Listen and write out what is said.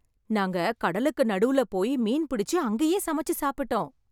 நாங்க கடலுக்கு நடுவுல போய் மீன் பிடிச்சு அங்கே சமைச்சு சாப்பிட்டோம்.